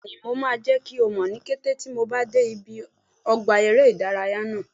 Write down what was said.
Bẹ́ẹ̀ni, mo máa jẹ́ kí mọ̀ ní kété tí mo bá dé ibi ọgbà eré ìdárayá náà